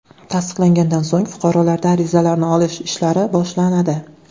Tasdiqlangandan so‘ng fuqarolarda arizalarni olish ishlari boshlanadi.